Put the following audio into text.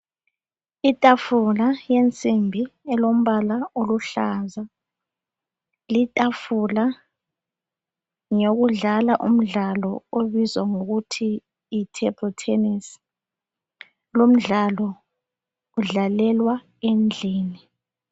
Itafula yensimbi elombala oluhlaza tshoko ngeyokudlala umdlalo obizwa ngokuthi yitable tennis, lomdlalo udlalelwa endlini.